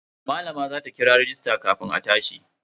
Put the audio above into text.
Malama za ta kira rajista kafin a tashi.